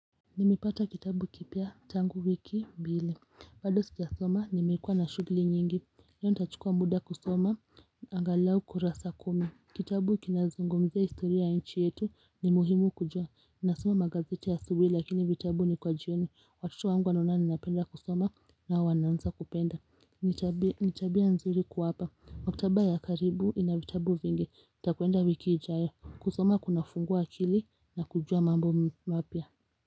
Nimepata kitabu kipya tangu wiki mbili bado sijasoma nimekuwa na shugli nyingi leo nitachukua muda kusoma angalau kurasa kumi Kitabu kinazungumzia historia ya nchi yetu ni muhimu kujua nasoma gazeti asubui lakini vitabu ni kwa jioni Watoto wanaona ninapenda kusoma na wao wanaanza kupenda Nitabia nzuri kuwapa Maktaba ya karibu ina vitabu vingi nitakwenda wiki ijayo kusoma kunafungua akili na kujua mambo mapya.